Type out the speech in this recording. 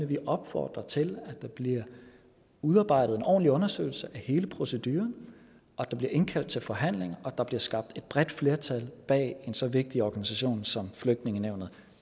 vi opfordrer til at der bliver udarbejdet en ordentlig undersøgelse af hele proceduren at der bliver indkaldt til forhandling og at der bliver skabt et bredt flertal bag en så vigtig organisation som flygtningenævnet